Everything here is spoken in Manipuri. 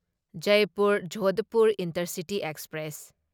Jaipur Jodhpur intercity express